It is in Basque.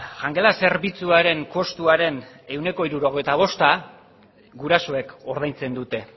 jangela zerbitzuaren kostuaren ehuneko hirurogeita bosta gurasoek ordaintzen dute